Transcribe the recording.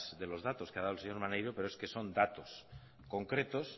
de los datos que ha dado el señor maneiro pero es que son datos concretos